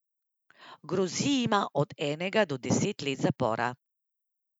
Grozi jima od enega do deset let zapora.